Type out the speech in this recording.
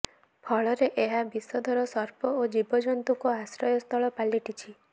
ଫଳରେ ଏହା ବିଷଧର ସର୍ପ ଓ ଜୀବଜନ୍ତୁଙ୍କ ଆଶ୍ରୟସ୍ଥଳ ପାଲଟିଛି